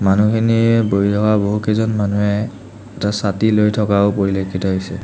মানুহখিনিৰ বহি থকা বহুকেইজন মানুহে এটা ছাতি লৈ থকাও পৰিলক্ষিত হৈছে।